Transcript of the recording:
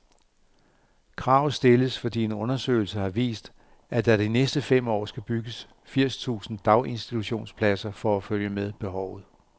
Kravet stilles, fordi en undersøgelse har vist, at der de næste fem år skal bygges firs tusind daginstitutionspladser for at følge med behovet.